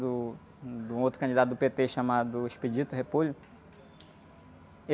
Do, de um outro candidato do pê-tê chamado.